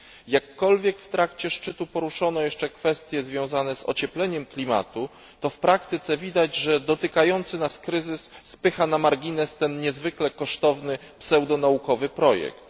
Jakkolwiek w trakcie szczytu poruszono jeszcze kwestie związane z ociepleniem klimatu, to w praktyce widać, że dotykający nas kryzys spycha na margines ten niezwykle kosztowny pseudonaukowy projekt.